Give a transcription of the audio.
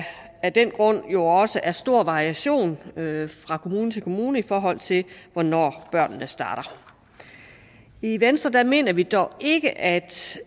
af den grund jo også er stor variation fra kommune til kommune i forhold til hvornår børnene starter i venstre mener vi dog ikke at